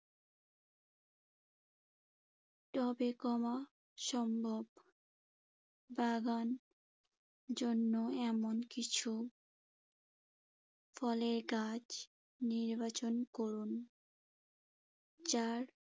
টবে কমা সম্ভব। বাগান জন্য এমন কিছু ফলের গাছ নির্বাচন করুন যার